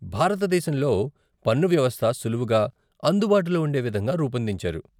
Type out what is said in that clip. భారతదేశంలో పన్ను వ్యవస్థ సులువుగా, అందుబాటులో ఉండే విధంగా రూపొందించారు.